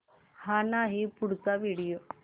हा नाही पुढचा व्हिडिओ